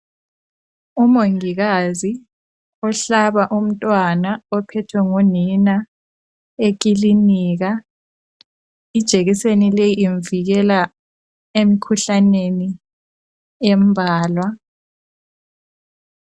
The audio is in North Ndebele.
Umongikazi uhlaba umntwana ophethwe ngunina ekilinika ijekiseni le imvikela emkhuhlaneni embalwa.